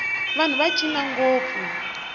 vanhu va cina ngopfu